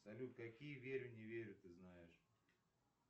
салют какие верю не верю ты знаешь